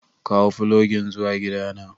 kawo fulogin zuwa gidana.